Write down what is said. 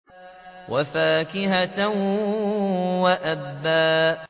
وَفَاكِهَةً وَأَبًّا